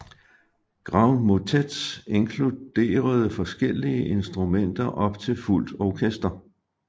Grand motets inkluderede forskellige instrumenter op til fuldt orkester